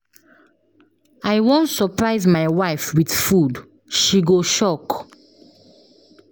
I wan surprise my wife with food. She go shock.